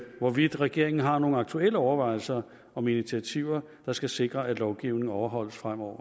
hvorvidt regeringen har nogen aktuelle overvejelser om initiativer der skal sikre at lovgivningen overholdes fremover